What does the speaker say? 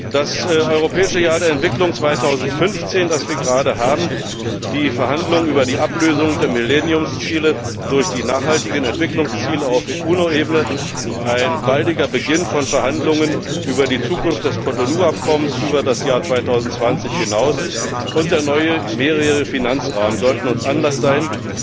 Das Europäische Jahr der Entwicklung 2015, das wir gerade haben, die Verhandlungen über die Ablösung der Millenniumsziele durch die nachhaltigen Entwicklungsziele auf UNO Ebene, ein baldiger Beginn von Verhandlungen über die Zukunft des Cotonou Abkommens über das Jahr 2020 hinaus und der neue mehrjährige Finanzrahmen sollten uns Anlass sein,